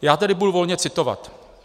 Já tedy budu volně citovat.